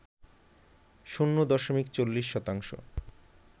শূণ্য দশমিক ৪০ শতাংশ